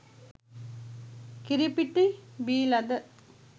කිරිපිටි බීලද?